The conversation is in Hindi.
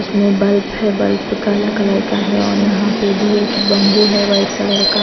उसमें बल्ब है बल्ब काला कलर का है और यहाँ पे भी एक बंबू है व्हाईट कलर का।